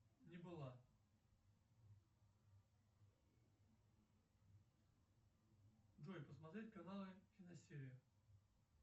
не была джой посмотреть каналы киносерия